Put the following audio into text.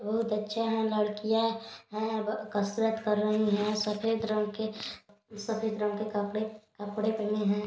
बहुत अच्छे हैं लड़कियां है कसरत कर रही है सफेद रंग के सफेद रंग के कपड़े पहने हैं।